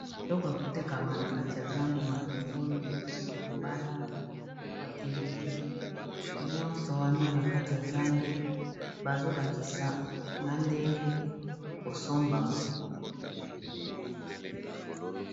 Biloko ya kotekama na kati ya zando, matungulu ba mbala ,na ba pilipili ,nyonso wana na kati ya zando bazolakisa na ndenge ekoki kosombama.